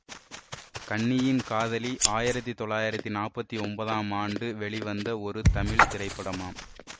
கன்னியின் காதலி ஆயிரத்தி தொள்ளாயிரத்தி நாற்பத்தி ஒன்பதாம் ஆண்டு வெளிவந்த ஒரு தமிழ் திரைப்படமாம்